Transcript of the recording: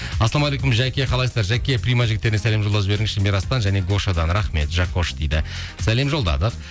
ассалаумағалейкум жаке қалайсыздар жаке прима жігіттеріне сәлем жолдап жіберіңізші мирастан және гошадан рахмет жакош дейді сәлем жолдадық